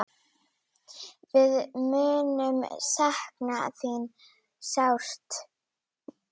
Greiði, blessi nýja vegferð þína.